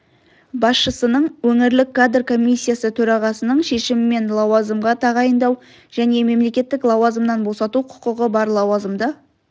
басшысының өңірлік кадр комиссиясы төрағасының шешімімен лауазымға тағайындау және мемлекеттік лауазымнан босату құқығы бар лауазымды